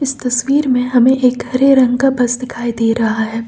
इस तस्वीर में हमें एक हरे रंग का बस दिखाई दे रहा है।